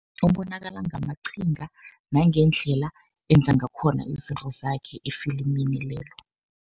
Ubonakala ngamaqhinga, nangendlela enza ngakhona izinto zakhe efilimini lelo.